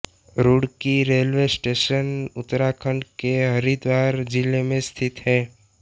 Roorkee railway station Uttarakhand के हरिद्वार जिले में स्थित है